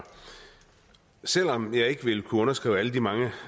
selv om jeg ikke vil kunne underskrive alle de mange